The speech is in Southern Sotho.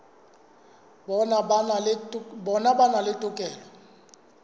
bona ba na le tokelo